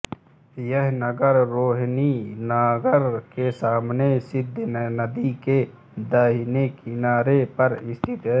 यह नगर रोहरी नगर के सामने सिंध नदी के दाहिने किनारे पर स्थित है